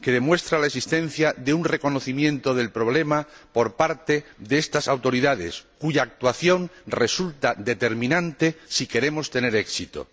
que demuestra la existencia de un reconocimiento del problema por parte de estas autoridades, cuya actuación resulta determinante si queremos tener éxito.